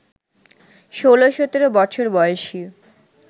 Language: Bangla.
ষোল সতেরো বছর বয়সী